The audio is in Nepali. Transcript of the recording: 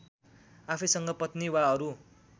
आफैसँग पत्नी वा अरू